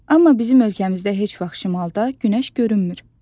Amma bizim ölkəmizdə heç vaxt şimalda günəş görünmür.